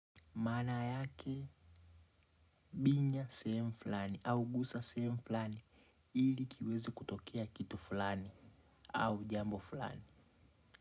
Maana yake binya sehemu fulani. Au gusa sehemu fulani ili kiwezi kutokea kitu fulani au jambo fulani.